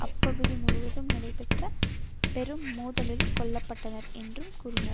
அப்பகுதி முழுவதும் நடைபெற்ற பெரும் மோதலில் கொல்ல பட்டனர் என்றும் கூறினார்